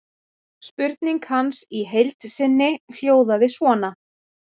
Spurning hans í heild sinni hljóðaði svona: